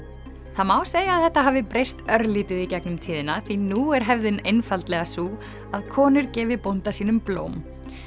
það má segja að þetta hafi breyst örlítið í gegnum tíðina því nú er hefðin einfaldlega sú að konur gefi bónda sínum blóm